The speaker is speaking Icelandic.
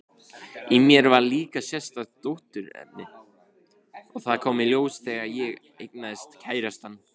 Í mér var líka sérstakt dótturefni, og það kom í ljós þegar ég eignaðist kærastann.